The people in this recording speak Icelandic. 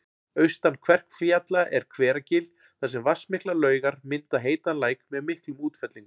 Austan Kverkfjalla er Hveragil þar sem vatnsmiklar laugar mynda heitan læk með miklum útfellingum